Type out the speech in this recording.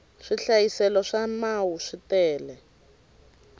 swihlayiselo swa mau swi tele